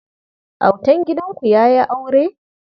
Autan gidanku ya yi aure ne?